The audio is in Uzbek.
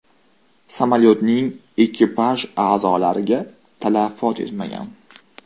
Samolyotning ekipaj a’zolariga talafot yetmagan.